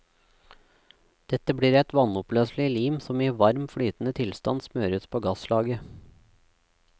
Dette blir et vannoppløselig lim som i varm, flytende tilstand smøres på gaslaget.